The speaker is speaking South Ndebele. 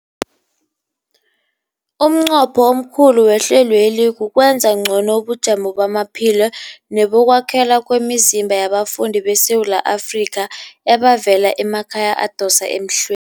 Umnqopho omkhulu wehlelweli kukwenza ngcono ubujamo bamaphilo nebokwakhela kwemizimba yabafundi beSewula Afrika abavela emakhaya adosa emhlwe